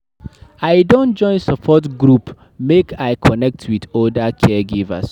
I don join support group make I connect wit oda caregivers.